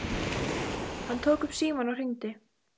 Hann tók upp símann og hringdi.